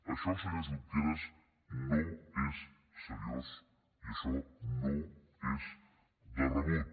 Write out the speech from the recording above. això senyor junqueras no és seriós i això no és de rebut